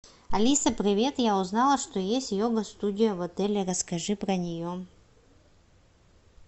алиса привет я узнала что есть йога студия в отеле расскажи про нее